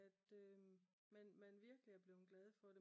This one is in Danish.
At øhm man virkelig er blevet glad for det